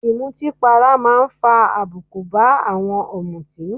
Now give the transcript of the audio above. Ìmutípara máa ń fa àbùkù bá àwọn ọ̀mùtì